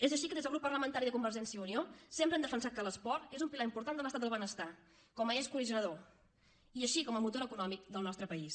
és així que des del grup parlamentari de convergència i unió sempre hem defensat que l’esport és un pilar important de l’estat del benestar com a eix cohesionador així com a motor econòmic del nostre país